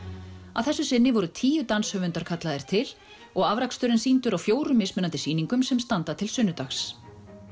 að þessu sinni voru tíu danshöfundar kallaðir til og afraksturinn sýndur á fjórum mismunandi sýningum sem standa til sunnudags